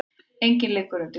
Enginn liggur undir grun